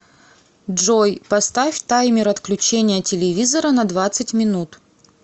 джой поставь таймер отключения телевизора на двадцать минут